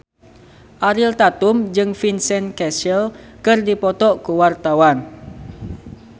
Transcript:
Ariel Tatum jeung Vincent Cassel keur dipoto ku wartawan